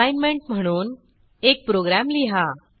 assignment म्हणून एक program लिहा